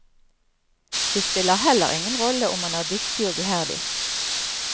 Det spiller heller ingen rolle om man er dyktig og iherdig.